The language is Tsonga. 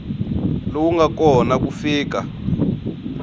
lowu nga kona ku fika